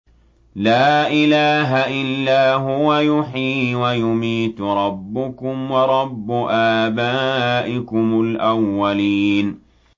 لَا إِلَٰهَ إِلَّا هُوَ يُحْيِي وَيُمِيتُ ۖ رَبُّكُمْ وَرَبُّ آبَائِكُمُ الْأَوَّلِينَ